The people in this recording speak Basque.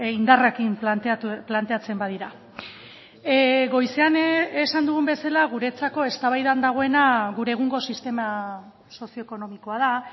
indarrekin planteatzen badira goizean esan dugun bezala guretzako eztabaidan dagoena gure egungo sistema sozio ekonomikoa da